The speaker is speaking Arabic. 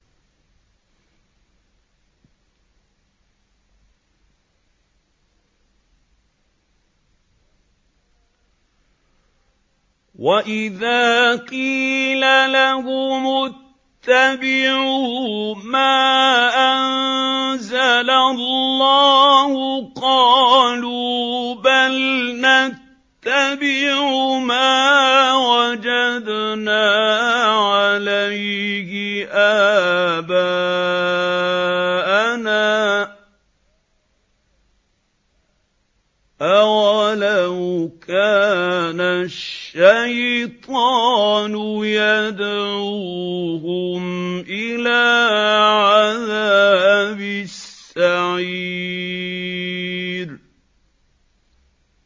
وَإِذَا قِيلَ لَهُمُ اتَّبِعُوا مَا أَنزَلَ اللَّهُ قَالُوا بَلْ نَتَّبِعُ مَا وَجَدْنَا عَلَيْهِ آبَاءَنَا ۚ أَوَلَوْ كَانَ الشَّيْطَانُ يَدْعُوهُمْ إِلَىٰ عَذَابِ السَّعِيرِ